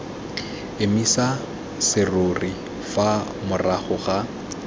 emisa serori fa morago ga